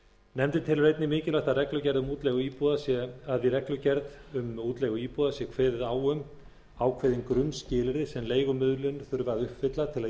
nefndin telur einnig mikilvægt að í reglugerð um útleigu íbúða sé kveðið á um ákveðin grunnskilyrði sem leigumiðlun þurfi að uppfylla til að